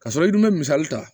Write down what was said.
K'a sɔrɔ i dun bɛ misali ta